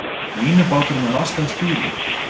Línubátur með laskað stýri